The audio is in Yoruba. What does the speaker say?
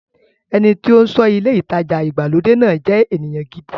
Ẹni tí ó ń ṣọ́ ilé ìtajà ìgbàlódé náà jẹ́ ènìyàn gidi.